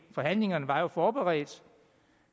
forhandlingerne var jo forberedt